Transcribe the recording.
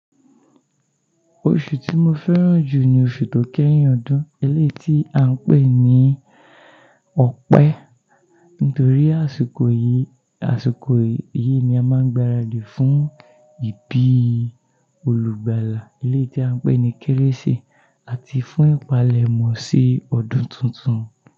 Oṣù tí mo fẹ́ràn jù ni oṣù tó kẹ́yìn ọdún elé tí à ń pè ní ọpẹ́ nítorí àsìkò yìí, àsìkò yìí ni a máa ń gbáradì fún ìbí olùgbàlà elé tí à ń pè ní Kérésì ati fún ìpalẹ̀mọ́ sí ọdún tuntun.